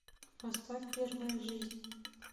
поставь первая жизнь